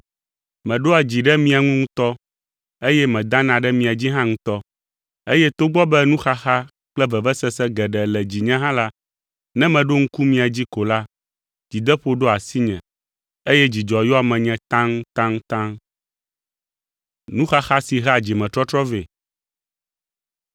Meɖoa dzi ɖe mia ŋu ŋutɔ, eye medana ɖe mia dzi hã ŋutɔ, eye togbɔ be nuxaxa kple vevesese geɖe le dzinye hã la, ne meɖo ŋku mia dzi ko la, dzideƒo ɖoa asinye eye dzidzɔ yɔa menye taŋtaŋtaŋ.